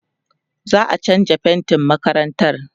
za'a chanza faintin makarantar